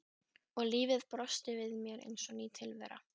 Og lífið brosti við mér eins og ný tilvera.